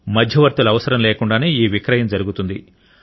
మధ్యవర్తుల అవసరం లేకుండానే ఈ విక్రయం జరుగుతుంది